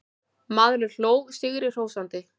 Maðurinn hló sigri hrósandi.